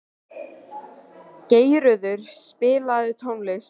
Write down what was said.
Geirröður, spilaðu tónlist.